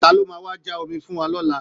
Ta ló máa wá já omi fún wa lọ́la